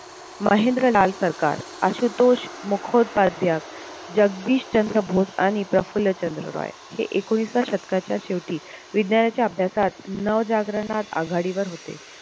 महेंद्र लाल सरकार, आशुतोष मुखोपाद्य, जगदीश चंद्र बोस आणि प्रफुल्ल चंद्र रॉय हे एकोणिसाव्या शतकाच्या शेवटी विज्ञानाच्या अभ्यासात नवजाग्रणात आघाडीवर होते